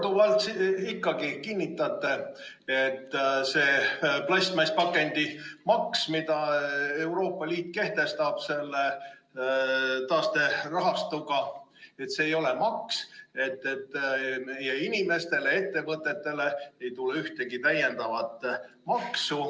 Te olete siin korduvalt kinnitanud, et see plastpakendimaks, mille Euroopa Liit kehtestab selle taasterahastuga, ei ole maks ja inimestele-ettevõtetele ei tule ühtegi täiendavat maksu.